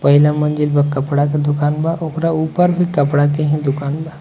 पहला मंजिल में कपड़ा के दूकान बा ओकरा ऊपर भी कपड़ा के ही दुकान बा।